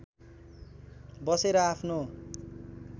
बसेर आफ्नो